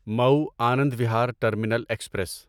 مو Anand Vihar terminal express